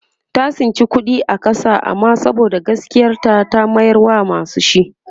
ta tsinci kuɗi a ƙasa amma saboda gaskiyar ta ta mayar wa masu shi